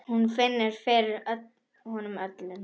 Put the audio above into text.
Hún finnur fyrir honum öllum.